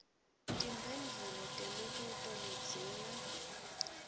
timphendvulo temibuto ledzinga